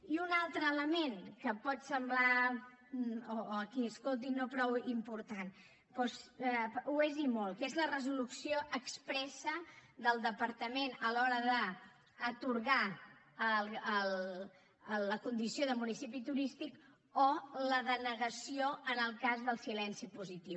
i un altre element que pot semblar a qui ho escolti no prou important doncs ho és i molt que és la resolució expressa del departament a l’hora d’atorgar la condició de municipi turístic o la denegació en el cas del silenci positiu